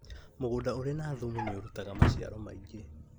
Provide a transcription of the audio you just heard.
Mũgũnda ũrĩ na thumu nĩũrutaga maciaro maingĩ